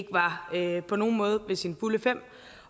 ikke på nogen måde er ved sine fulde fem